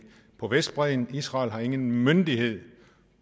på vestbredden israel har ingen myndighed